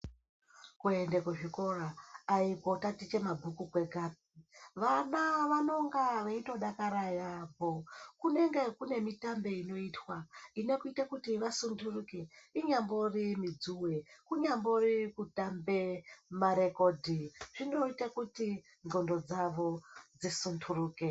Kuende kuzvikora haikotatiche mabhuku kwega. Vana vanonga veitodakara yaamho. Kunenge kune mitambo inenge ichiitwa inoita kuti vasunturike inyambori midzuwe, kunyambori kutambe marekodhi zvinoita kuti ndxondo dzawo dzisunturuke.